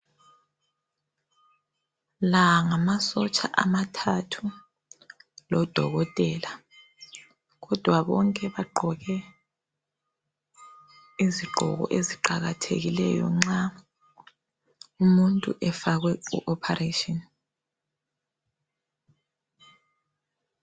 La ngamasotsha amathathu lodokotela kodwa bonke bagqoke izigqoko eziqakathekileyo nxa umuntu efakwe ku operation.